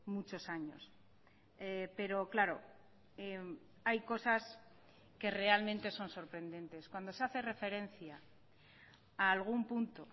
muchos años pero claro hay cosas que realmente son sorprendentes cuando se hace referencia a algún punto